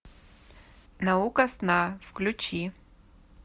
наука сна включи